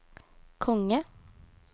konge